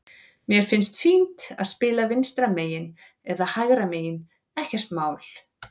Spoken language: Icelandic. Mér finnst fínt að spila vinstra megin eða hægra megin, ekkert mál.